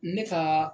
Ne ka